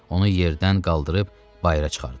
Onu yerdən qaldırıb bayıra çıxardılar.